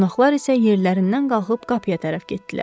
Qonaqlar isə yerlərindən qalxıb qapıya tərəf getdilər.